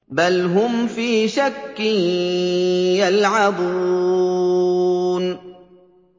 بَلْ هُمْ فِي شَكٍّ يَلْعَبُونَ